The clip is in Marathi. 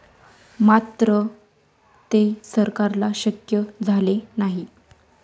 मात्र ते सरकारला शक्य झाले नाही.